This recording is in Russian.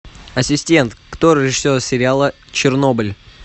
ассистент кто режиссер сериала чернобыль